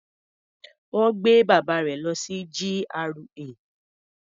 Wọ́n gbé bàbá rẹ̀ lọ sí GRA.